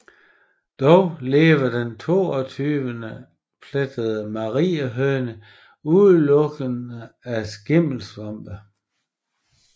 Dog lever den toogtyveplettede mariehøne udelukkende af skimmelsvampe